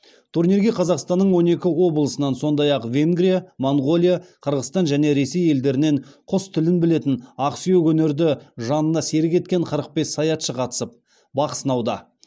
турнирге қазақстанның он екі облысынан сондай ақ венгрия моңғолия қырғызстан және ресей елдерінен құс тілін білетін ақсүйек өнерді жанына серік еткен қырық бес саятшы қатысып бақ сынауда